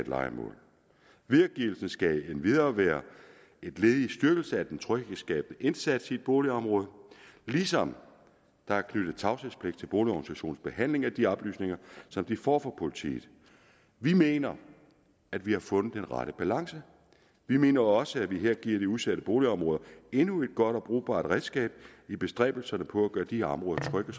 lejemål videregivelsen skal endvidere være et led i styrkelsen af den tryghedsskabende indsats i et boligområde ligesom der er knyttet tavshedspligt til boligorganisationernes behandling af de oplysninger som de får fra politiet vi mener at vi har fundet den rette balance vi mener også at vi her giver de udsatte boligområder endnu et godt og brugbart redskab i bestræbelserne på at gøre de områder trygge at